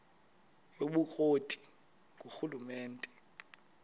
yobukro ti ngurhulumente